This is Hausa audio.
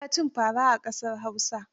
Ana a cin fara a ƙasar Hausa.